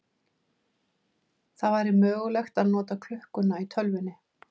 Það væri mögulegt að nota klukkuna í tölvunni.